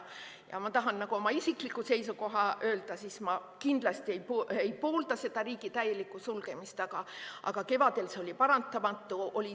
Ja ma tahan oma isikliku seisukoha öelda, et ma kindlasti ei poolda riigi täielikku sulgemist, aga kevadel oli see paratamatu.